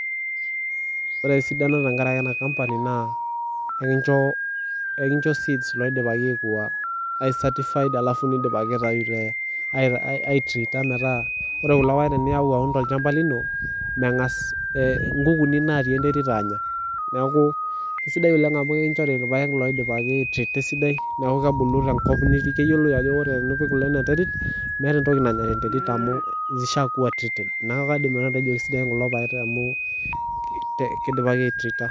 Wore esidano tenkaraki ena company naa ekincho seeds naidipaki ai certified alafu nidipaki aitayu te aitriita metaa wore kulo paek teniyau aun tolchamba lino, mengas inkukuni naatii enterit aanya. Neeku kesidai oleng' amu ekinchori irpaek loidipaki aitriita esidai, neeku kebulu tenkop nitii , keyioloi ajo wore tenipik kulo inia terit meeta entoki nanya tenterit amu zishiakuwa treated. Neeku kaidim nanu atejo kaisidan kulo paek amu kidipaki aitriita.